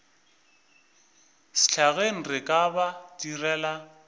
sehlageng re ka ba direla